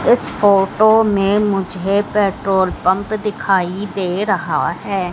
इस फोटो में मुझे पेट्रोल पंप दिखाई दे रहा है।